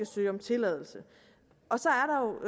søge om tilladelse og så